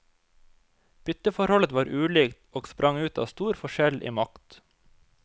Bytteforholdet var ulikt, og sprang ut av stor forskjell i makt.